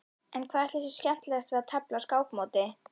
En hvað ætli sé skemmtilegast við að tefla á skákmóti?